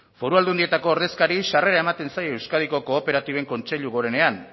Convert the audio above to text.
foru aldundietako ordezkari sarrera ematen zaio euskadiko kooperatiben kontseilu gorenean